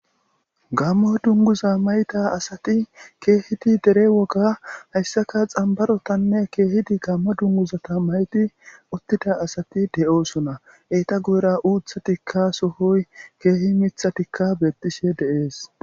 gammo dunguza mayta asati keehidi dere woga hayssaka xambarotanne keehidi gamma dunguzata mayti uttida asati de7oosuna eeta guyra uutha tikka sohoy keehi mitha tikka beettishe deees